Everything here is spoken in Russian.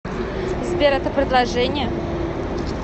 сбер это предложение